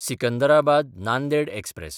Secunderabad-Nanded express